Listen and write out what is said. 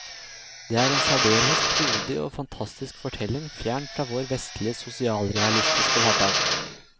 Det er en særdeles frodig og fantastisk fortelling fjern fra vår vestlige sosialrealistiske hverdag.